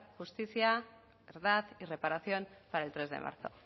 justicia verdad y reparación para el tres de marzo